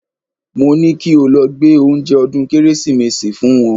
Mo ní kí o lọ gbé oúnjẹ ọdún Kérésìmesì fún wọn